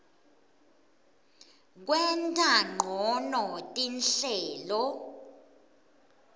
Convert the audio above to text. kwenta ncono tinhlelo